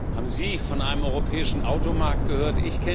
Haben Sie von einem europäischen Automarkt gehört?